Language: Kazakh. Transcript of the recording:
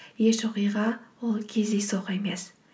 еш оқиға ол кездейсоқ емес